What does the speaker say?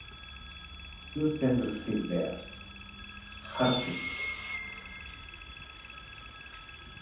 Þú stendur þig vel, Hartvig!